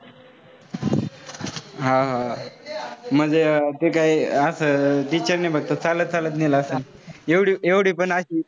अह म्हणजे ते कांही असं चालत चालत नेलं असेल एवढी पण अशी